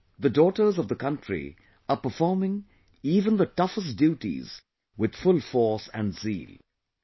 Today the daughters of the country are performing even the toughest duties with full force and zeal